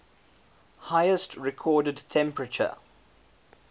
highest recorded temperature